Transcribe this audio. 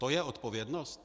To je odpovědnost?